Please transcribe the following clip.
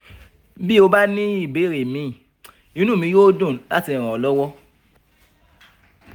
bí o bá ní ìbéèrè míì inú mi yóò dùn láti ràn ọ lọ́wọ́